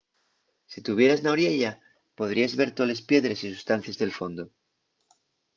si tuvieras na oriella podríes ver toles piedres y sustancies del fondu